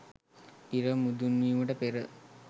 ඉර මුදුන්වීමට පෙර